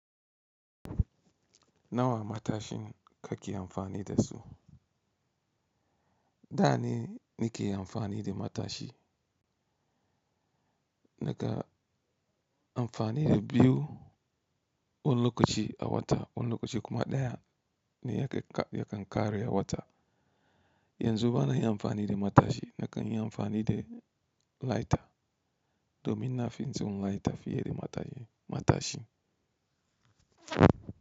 Nawa matashin ka ke amfani da su? Da ni, ni ke amfani da matashi. Naka amfani da biyu, wani lokaci a wata, wani lokaci kuma ɗaya ne yake, yake kare a wata. Yanzu bana yin amfani da matashi, na kan yin amfani da lighter domin na fi tson lighter fiye da mata, matashi.